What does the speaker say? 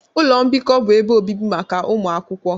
Ụlọ mbikọ bụ ebe obibi maka ụmụ akwụkwọ